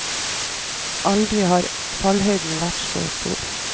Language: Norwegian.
Aldri har fallhøyden vært så stor.